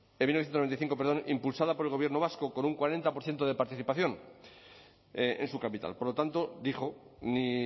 en mil novecientos noventa y cinco perdón impulsada por el gobierno vasco con un cuarenta por ciento de participación en su capital por lo tanto dijo ni